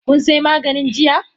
Kun say maganin jiya?